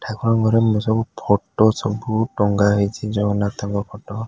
ଠାକୁରଙ୍କ ଘରେ ମୁଁ ସବୁ ଫଟୋ ସବୁ ଟଙ୍ଗା ହେଇଚି ଜଗନ୍ନାଥଙ୍କ ଫଟୋ ।